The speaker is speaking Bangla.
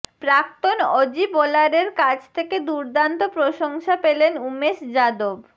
প্রাক্তন অজি বোলারের কাছ থেকে দুর্দান্ত প্রশংসা পেলেন উমেশ যাদব